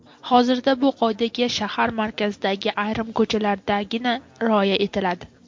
Hozirda bu qoidaga shahar markazidagi ayrim ko‘chalardagina rioya etiladi.